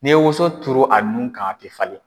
N'i ye woson turu a nun kan a tɛ falen.